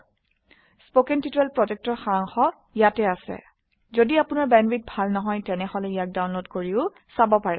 spoken tutorialorgৱ্হাট is a spoken tutorial কথন শিক্ষণ প্ৰকল্পৰ সাৰাংশ ইয়াত আছে যদি আপোনাৰ বেণ্ডৱিডথ ভাল নহয় তেনেহলে ইয়াক ডাউনলোড কৰি চাব পাৰে